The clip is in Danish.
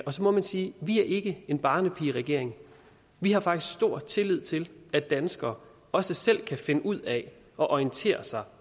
så må man sige at vi ikke en barnepigeregering vi har faktisk stor tillid til at danskere også selv kan finde ud af at orientere sig